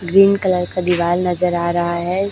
Green colour का दीवाल नजर आ रहा है।